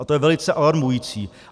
A to je velice alarmující.